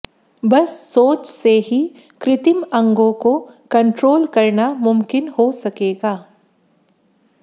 बस सोच से ही कृत्रिम अंगों को कंट्रोल करना मुमकिन हो सकेगा